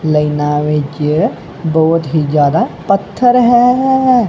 ਲਾਈਨਾਂ ਵਿੱਚ ਬਹੁਤ ਹੀ ਜਿਆਦਾ ਪੱਥਰ ਹੈ।